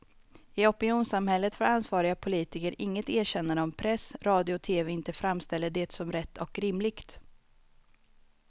I opinionssamhället får ansvariga politiker inget erkännande om press, radio och tv inte framställer det som rätt och rimligt.